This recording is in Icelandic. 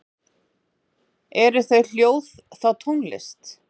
Eru þau hljóð þá tónlist?